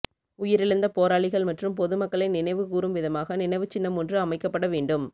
உயிரிழந்த போராளிகள் மற்றும் பொது மக்களை நினைவு கூறும் விதமாக நினைவு சின்னமொன்று அமைக்கப்பட வேண்டும்